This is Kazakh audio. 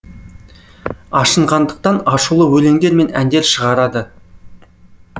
ашынғандықтан ашулы өлеңдер мен әндер шығарады